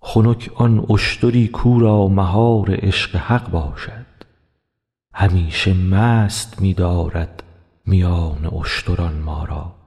خنک آن اشتری کاو را مهار عشق حق باشد همیشه مست می دارد میان اشتران ما را